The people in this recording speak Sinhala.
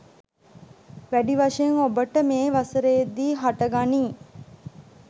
වැඩි වශයෙන් ඔබට මේ වසරේදි හට ගනී.